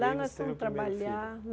o primeiro filho Lá nós fomos trabalhar.